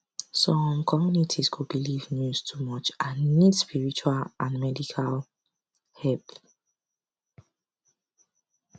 some communities go believe news too much and need spiritual and medical help